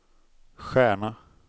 stjärna